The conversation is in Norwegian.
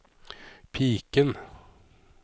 piken